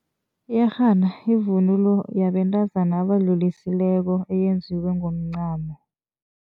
Iyerhana yivunulo yabentazana abadlulisileko. Eyenziwe ngomncamo.